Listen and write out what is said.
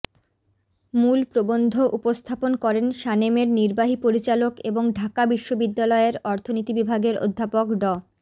মূল প্রবন্ধ উপস্থাপন করেন সানেমের নির্বাহী পরিচালক এবং ঢাকা বিশ্ববিদ্যালয়ের অর্থনীতি বিভাগের অধ্যাপক ড